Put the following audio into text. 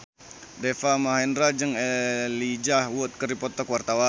Deva Mahendra jeung Elijah Wood keur dipoto ku wartawan